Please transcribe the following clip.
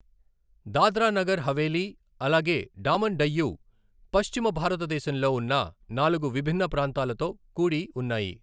దాద్రా నగర్ హవేలీ, అలాగే డామన్ డయ్యు పశ్చిమ భారతదేశంలో ఉన్న నాలుగు విభిన్న ప్రాంతాలతో కూడి ఉన్నాయి.